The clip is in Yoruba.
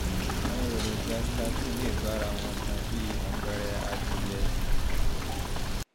àwọn èròjà statin lè bára wọn tan bí àpẹẹrẹ adìyẹ